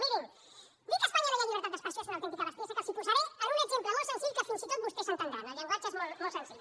mirin dir que a espanya no hi ha llibertat d’expressió és una autèntica bestiesa que els posaré en un exemple molt senzill que fins i tot vostès entendran el llenguatge és molt senzill